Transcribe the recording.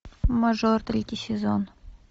мажор третий сезон